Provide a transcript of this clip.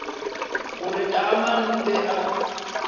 gore taamane o be a